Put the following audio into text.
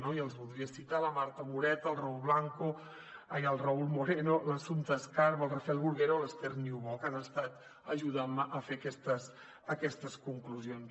i els voldria citar la marta moreta el raül moreno l’assumpta escarp el rafel bruguera o l’esther niubó que han estat ajudant me a fer aquestes conclusions